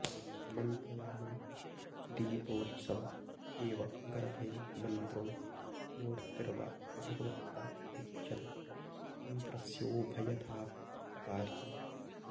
मन्त्रदानं दीपोत्सव एव गर्भे मन्त्रो मूर्त्तिर्वा भगवत्या लिख्यते यन्त्रस्योभयथापि कार्यम्